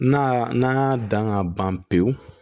N'a n'a y'a dan ka ban pewu